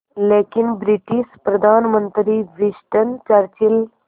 लेकिन ब्रिटिश प्रधानमंत्री Winston Churchill